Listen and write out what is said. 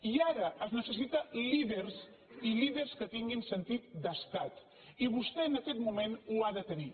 i ara es necessiten líders i líders que tinguin sentit d’estat i vostè en aquest moment l’ha de tenir